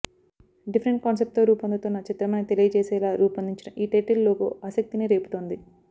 different కాన్సెప్ట్తో రూపొందుతోన్న చిత్రమని తెలియజేసేలా రూపొందిన ఈ టైటిల్ లోగో ఆసక్తినిరేపుతోంది